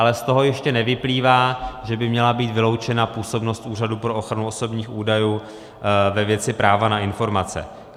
Ale z toho ještě nevyplývá, že by měla být vyloučena působnost Úřadu pro ochranu osobních údajů ve věci práva na informace.